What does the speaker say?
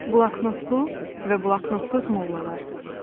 Bloknotlu və bloknotsuz mollalar.